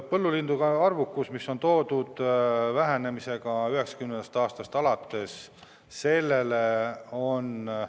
Põllulindude arvukuse vähenemine 1990. aastast alates on arengukavas tõesti toodud.